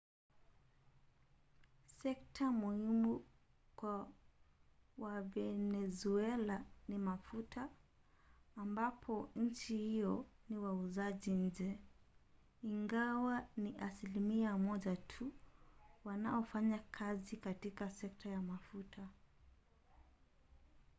sekta muhimu kwa wavenezuela ni mafuta ambapo nchi hiyo ni wauzaji nje ingawa ni asilimia moja tu wanaofanya kazi katika sekta ya mafuta